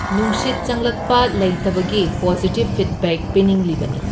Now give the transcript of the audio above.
ꯅꯨꯡꯁꯤꯠ ꯆꯪꯂꯛꯄ ꯂꯩꯇꯕꯒꯤ ꯄꯣꯖꯤꯇꯤꯚ ꯐꯤꯗꯕꯦꯛ ꯄꯤꯅꯤꯡꯂꯤꯕꯅꯤ꯫